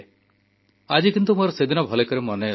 ଆଜି କିନ୍ତୁ ମୋର ସେଦିନ ଭଲ ଭାବେ ମନେଅଛି